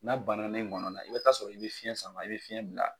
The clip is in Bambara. N'a bananen e gɔnɔ na i bɛ t'a sɔrɔ i bɛ fiyɛn sama i bɛ fiyɛn bila.